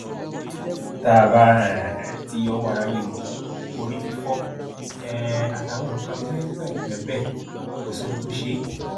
tá a bá um ti yọwọ ara ríro orí fífọ um àtàwọn nǹkan pẹẹpẹẹ pẹẹ bẹẹ kò sí ohun tó ṣe é